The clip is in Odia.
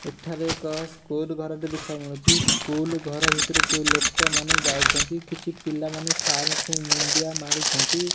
ଏଠାରେ ଏକ ସ୍କୁଲ ଘର ଟି ଦେଖିବାକୁ ମିଳୁଚି ସ୍କୁଲ ଘର ଭିତର କୁ ଲୋକ ମାନେ ଯାଉଛନ୍ତି କିଛି ପିଲା ମାନେ ସାର ଙ୍କୁ ମୁଣ୍ଡିଆ ମାରୁଛନ୍ତି।